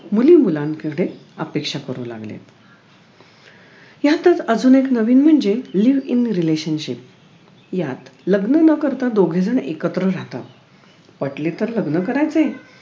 मुली मुलांमध्ये अपेक्षा करू लागलेत यातच अजून एक नवीन म्हणजे live in relationship यात लग्न न करता दोघेजण एकत्र राहतात पटले तर लग्न करायचे